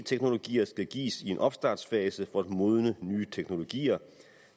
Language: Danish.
teknologier skal gives i en opstartsfase for at modne nye teknologier